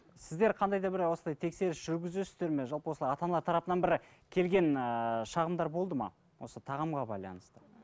сіздер қандай да бір осылай тексеріс жүргізесіздер ме жалпы осылай ата аналар тарапынан бір келген ыыы шағымдар болды ма осы тағамға байланысты